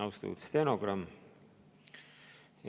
Austatud stenogramm!